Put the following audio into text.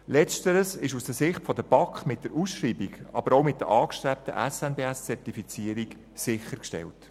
Letzteres ist aus Sicht der BaK mit der Ausschreibung und der angestrebten SNBS-Zertifizierung sichergestellt.